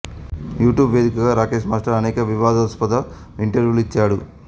YouTube వేదికగా Rakesh master అనేక వివాదాస్పద ఇంటర్వ్యూలు ఇచ్చాడు